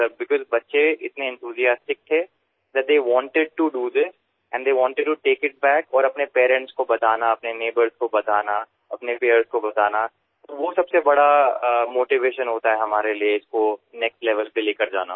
sir because बच्चे इतने enthusiastic थे that they wanted to do this and they wanted to take it back और अपने parents को बताना अपने नीगबोर्स को बताना अपने पीयर्स को बताना वो सबसे बड़ा मोटिवेशन होता है हमारे लिए इसको नेक्स्ट लेवेल पे ले के जाना